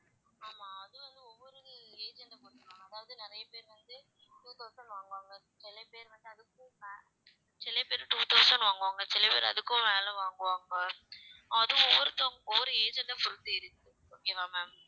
ஆமா அது வந்து ஒவ்வொரு agent அ பொறுத்து அதாவது நிறைய பேர் வந்து two thousand வாங்குவாங்க சில பேர் வந்து அதுக்கும் மேல சில பேர் two thousand வாங்குவாங்க சில பேர் அதுக்கும் மேல வாங்குவாங்க அது ஒவ்வொருத்தவங்க ஒவ்வொரு agent அ பொறுத்து இருக்கு okay வா ma'am